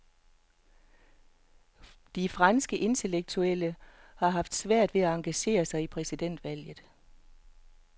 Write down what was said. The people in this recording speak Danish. De franske intellektuelle har haft svært ved at engagere sig i præsidentvalget.